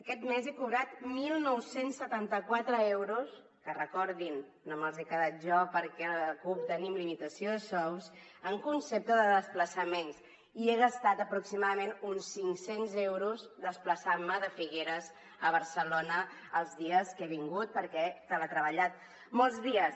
aquest mes he cobrat dinou setanta quatre euros que recordin ho no me’ls he quedat jo perquè a la cup tenim limitació de sous en concepte de desplaçaments i he gastat aproximadament uns cinc cents euros desplaçant me de figueres a barcelona els dies que he vingut perquè he teletreballat molts dies